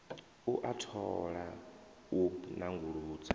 u a thola u nanguludza